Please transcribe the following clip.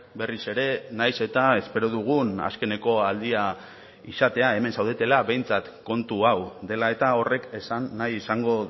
berriz ere nahiz eta espero dugun azkeneko aldia izatea hemen zaudetela behintzat kontu hau dela eta horrek esan nahi izango